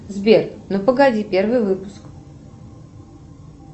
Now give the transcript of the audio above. сбер ну погоди первый выпуск